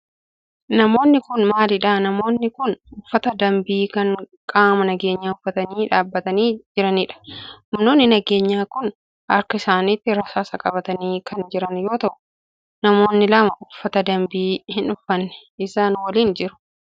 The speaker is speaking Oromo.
Namoonni kun maalidha? Namoonni kun uffata dambii kan qaama nageenyaa uffatanii dhaabbatanii jiranidha. Humnoonni nageenyaa kun harka isaanitti raasasa qabatanii kan jiran yoo ta'u namoonni lama uffata dambii hin uffanne isaan waliin jiru.